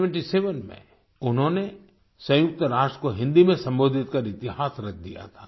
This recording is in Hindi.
1977 में उन्होंने सयुंक्त राष्ट्र को हिंदी में संबोधित कर इतिहास रच दिया था